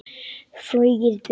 Flogið burt.